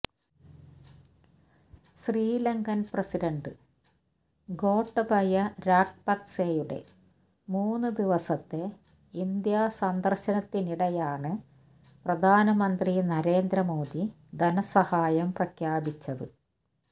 Sri Lankan president Gotabaya രാജപക്സെയുടെ മൂന്നു ദിവസത്തെ ഇന്ത്യ സന്ദർശനത്തിനിടെയാണ് പ്രധാനമന്ത്രി നരേന്ദ്ര മോദി ധനസഹായം പ്രഖ്യാപിച്ചത്